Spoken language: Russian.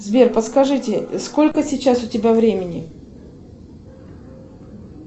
сбер подскажите сколько сейчас у тебя времени